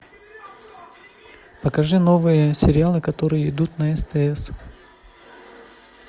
покажи новые сериалы которые идут на стс